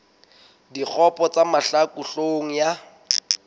dikgopo tsa mahlaku hloohong ya